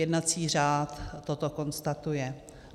Jednací řád toto konstatuje.